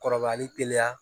Kɔrɔbayali teliya